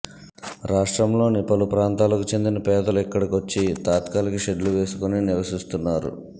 రాష్ట్రంలోని పలు ప్రాంతాలకు చెందిన పేదలు ఇక్కడికొచ్చి తాత్కాలిక షెడ్లు వేసుకుని నివసిస్తున్నారు